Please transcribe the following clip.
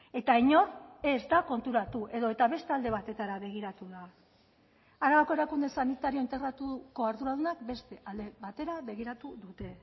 eta inor ez da konturatu edota beste alde batetara begiratu da arabako erakunde sanitario integratuko arduradunak beste alde batera begiratu dute